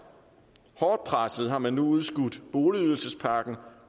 hårdt presset har man nu udskudt boligydelsespakken